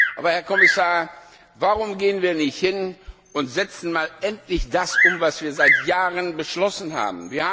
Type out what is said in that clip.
Aber, Herr Kommissar, warum gehen wir nicht hin und setzen endlich das um, was wir bereits vor Jahren beschlossen haben?